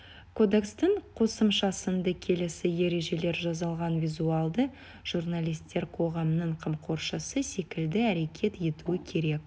кодекстің қосымшасында келесі ережелер жазылған визуалды журналистер қоғамның қамқоршысы секілді әрекет етуі керек